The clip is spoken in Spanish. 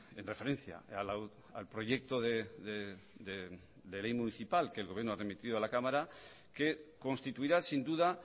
en referencia al proyecto de ley municipal que el gobierno ha remitido a la cámara que constituirá sin duda